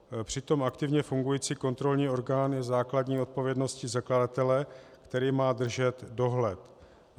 Přitom aktivně fungující kontrolní orgán je základní odpovědností zakladatele, který má držet dohled.